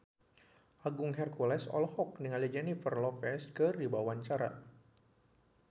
Agung Hercules olohok ningali Jennifer Lopez keur diwawancara